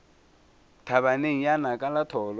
thabaneng ya naka la tholo